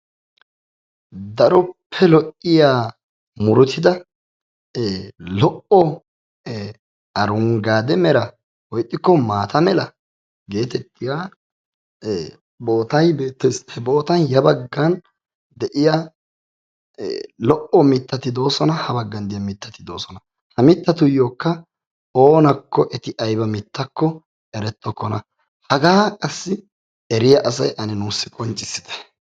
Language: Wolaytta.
daroppe lo'iya murutida, ee lo'o arungaade mera ixxikko maata mera bootay beetay beetees. he boottay ya bagan de'iya lo"o mitati doosona. ha baggan diya mitati doosona. ha mitatikka oonakko eti ayba mitakko eretokkona. hagaa qassi eriya asay ane nuusi qonccissite.